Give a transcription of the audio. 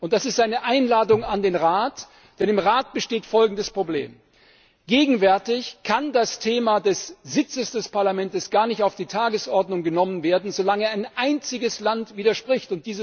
Und das ist eine Einladung an den Rat, denn im Rat besteht folgendes Problem Gegenwärtig kann das Thema des Sitzes des Parlaments gar nicht auf die Tagesordnung genommen werden, solange ein einziges Land widerspricht.